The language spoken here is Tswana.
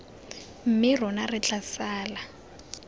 mme rona re tla sala